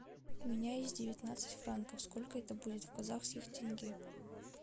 у меня есть девятнадцать франков сколько это будет в казахских тенге